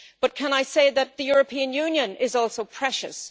But, can I say that the European Union is also precious?